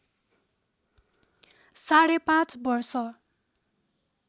साढे पाँच वर्ष